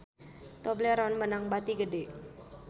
Tobleron meunang bati gede